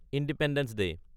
independence day